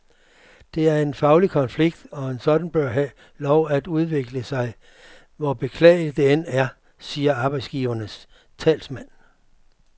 Det er en faglig konflikt, og en sådan bør have lov til at udvikle sig, hvor beklageligt det end er, siger arbejdsgivernes talsmand.